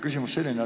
Küsimus on selline.